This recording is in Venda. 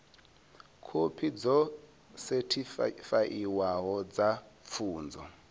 khophi dzo sethifaiwaho dza pfunzo